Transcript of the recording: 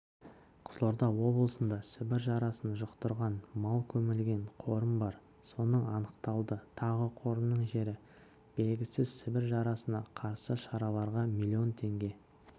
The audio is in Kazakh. қызылорда облысында сібір жарасын жұқтырған мал көмілген қорым бар соның анықталды тағы қорымның жері белгісіз сібір жарасына қарсы шараларға млн теңге